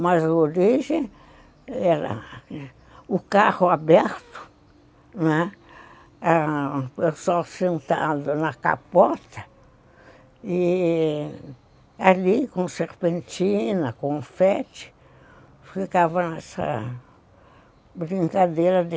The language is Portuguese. Mas a origem era o carro aberto, né, o pessoal sentado na capota, e ali com serpentina, confete, ficava nessa brincadeira de...